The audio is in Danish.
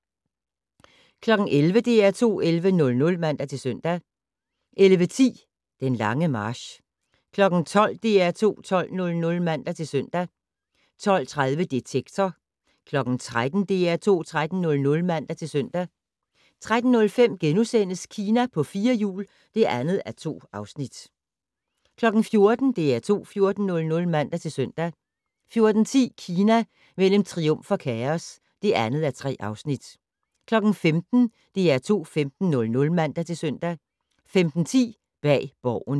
11:00: DR2 11:00 (man-søn) 11:10: Den lange march 12:00: DR2 12:00 (man-søn) 12:30: Detektor 13:00: DR2 13:00 (man-søn) 13:05: Kina på fire hjul (2:2)* 14:00: DR2 14:00 (man-søn) 14:10: Kina mellem triumf og kaos (2:3) 15:00: DR2 15:00 (man-søn) 15:10: Bag Borgen